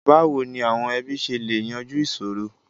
Báwo ni àwọn ẹbí ṣe lè yanjú ìṣòro?